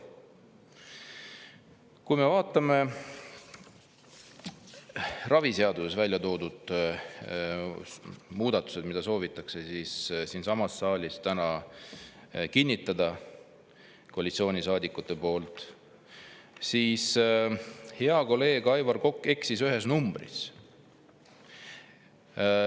Kui me vaatame ravi seaduse muudatusi, mida soovitakse siinsamas saalis täna kinnitada koalitsioonisaadikute poolt, siis hea kolleeg Aivar Kokk eksis ühe numbriga.